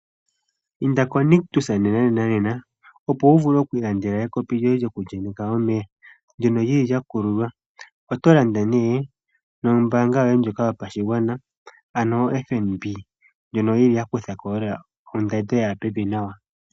Inda koNictus nenanena opo wu vule okwii landela ekopi lyoye lyoku ye nyeka omeya, ndyono lyili lya kululwa, oto landa nee nombaanga yoye ndjoka yapashigwana ano oFNB, ndjono yili ya kutha ko lela ondando yaya pevi nawa.